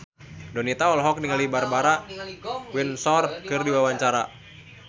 Donita olohok ningali Barbara Windsor keur diwawancara